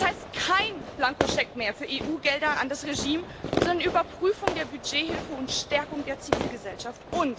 Das heißt Kein Blankoscheck mehr für EU Gelder an das Regime, sondern Überprüfung der Budgethilfe und Stärkung der Zivilgesellschaft.